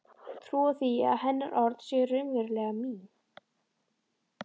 Trúa því að hennar orð séu raunverulega mín.